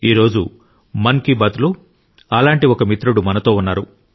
ఈ రోజు మన్ కి బాత్లో అలాంటి ఒక మిత్రుడు మనతో ఉన్నారు